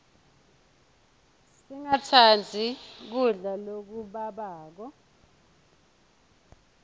singatsandzi kudla lokubabako